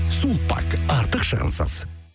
сулпак артық шығынсыз